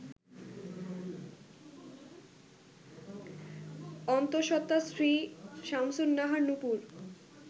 অন্তসত্ত্বা স্ত্রী সামসুন্নাহার নুপুর